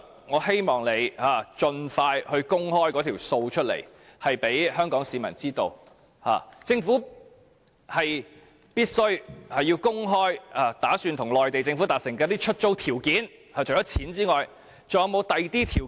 我希望陳帆局長盡快向香港市民公開這些帳目，政府必須公開擬與內地政府達成的出租條件，除了金錢，還有否其他條件？